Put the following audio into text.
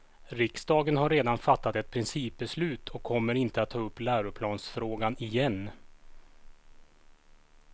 Riksdagen har redan fattat ett principbeslut och kommer inte att ta upp läroplansfrågan igen.